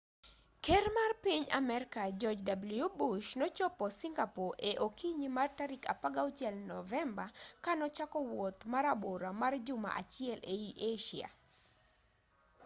ker mar piny amerka george w bush nochopo singapore e okinyi mar tarik 16 novemba ka nochako wuoth marabora mar juma achiel ei asia